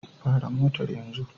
Fara motar yanzu!